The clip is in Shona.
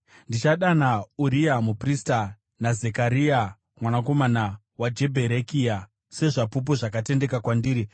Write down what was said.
Ndichadana Uriya muprista naZekaria mwanakomana waJebherekia sezvapupu zvakatendeka kwandiri.”